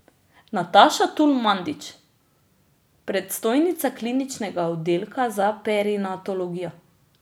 Nataša Tul Mandić, predstojnica Kliničnega oddelka za perinatologijo.